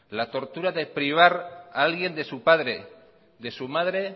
la tortura de privar a alguien de su padre de su madre